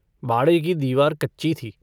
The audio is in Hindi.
बाड़े की दीवार कच्ची थी।